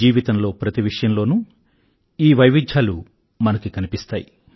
జీవితంలో ప్రతి విషయంలోనూ ఈ వైవిధ్యాలు మనకు కనిపిస్తాయి